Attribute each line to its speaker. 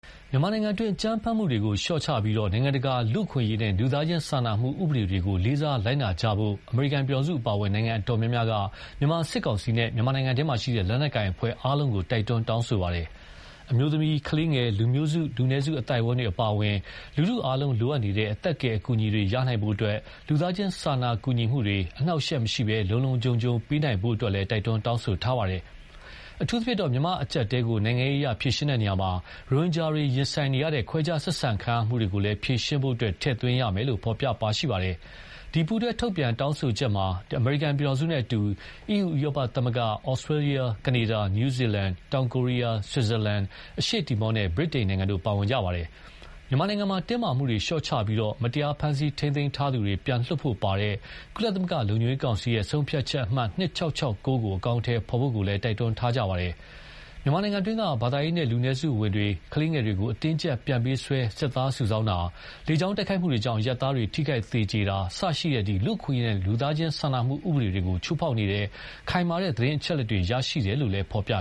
Speaker 1: မြန်မာနိုင်ငံတွင်း အကြမ်းဖက်မှုတွေလျှော့ချပြီး၊ နိုင်ငံတကာ လူ့အခွင့်အရေးနဲ့ လူသားချင်းစာနာမှုဥပဒေတွေကို လေးစားလိုက်နာကြဖို့ အမေရိကန်ပြည်ထောင်စုအပါအဝင် နိုင်ငံအတော်များများက မြန်မာစစ်ကောင်စီနဲ့ မြန်မာနိုင်ငံတွင်းက လက်နက်ကိုင်အဖွဲ့အားလုံးကို တိုက်တွန်းပါတယ်။ အမျိုးသမီး ကလေးငယ် လူမျိုးစု လူနည်းစုအသိုက်အတန်းတွေအပါအဝင် လူထုအားလုံးလိုအပ်နေတဲ့ အသက်ကယ်အကူအညီတွေ ရရှိနိုင်ဖို့အတွက် လူသားချင်းစာနာကူညီမှုတွေ အနှောင့်အယှက်မရှိ လုံလုံခြုံခြုံ ပေးနိုင်ဖို့ကိုလည်း တိုက်တွန်းတောင်းဆိုထားပါတယ်။ အထူးသဖြင့် မြန်မာအကျပ်အတည်းကို နိုင်ငံရေးအရ ဖြေရှင်းရာမှာ ရိုဟင်ဂျာတွေ ရင်ဆိုင်နေရတဲ့ ခွဲခြားဆက်ဆံခံရမှုတွေကိုလည်း ဖြေရှင်းဖို့ ထည့်သွင်းရမယ်လို့ ဖော်ပြပါရှိပါတယ်။ ဒီ ပူးတွဲထုတ်ပြန် တောင်းဆိုချက်မှာ အမေရိကန်ပြည်ထောင်စုနဲ့အတူ အီးယူ ဥရောပသမဂ္ဂ၊ ဩစတေးလျ၊ ကနေဒါ၊ နယူးဇီလန်၊ တောင်ကိုရီယား၊ ဆွစ်ဇာလန်၊ အရှေ့တီမောနဲ့ ဗြိတိန်နိုင်ငံတို့ ပါဝင်ကြပါတယ်။ မြန်မာနိုင်ငံမှာ တင်းမာမှုတွေလျှော့ချပြီး၊မတရားဖမ်းဆီးထားသူတွေ ပြန်လွှတ်ဖို့ပါဝင်တဲ့ ကုလသမဂ္ဂ လုံခြုံရေးကောင်စီ ဆုံးဖြတ်ချက်အမှတ် ၂၆၆၉ ကို အကောင်အထည်ဖော်ဖို့ကိုလည်း တိုက်တွန်းထားကြပါတယ်။ မြန်မာနိုင်ငံတွင်း ဘာသာရေးနဲ့ လူနည်းစုဝင်တွေ ကလေးငယ်တွေကို အတင်းအကျပ်ပြန်ပေးဆွဲ စစ်သားစုဆောင်းတာ၊ လေကြောင်းတိုက်ခိုက်မှုတွေကြောင့်အရပ်သားတွေ ထိခိုက်သေကြေတာ စတဲ့ လူအခွင့်အရေးနဲ့ လူသားချင်းစာနာမှုဥပဒေတွေကို ချိုးဖောက်နေတဲ့ ခိုင်မာတဲ့သတင်းအချက်အ
Speaker 2: လက်တွေ ရရှိထားတယ်လို့ ဖော်ပြ